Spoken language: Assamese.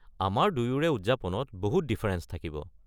আমাৰ দুয়োৰে উদযাপনত বহুত ডিফাৰেঞ্চ থাকিব।